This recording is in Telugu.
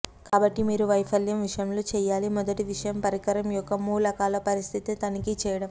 కాబట్టి మీరు వైఫల్యం విషయంలో చెయ్యాలి మొదటి విషయం పరికరం యొక్క మూలకాల పరిస్థితి తనిఖీ చేయడం